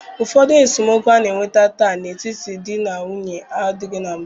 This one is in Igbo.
Ụfọdụ esemokwu a na-enwe taa n'etiti ndị di na nwunye adịghị na mbụ.